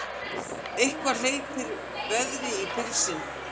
Eitthvað hleypir veðri í pilsin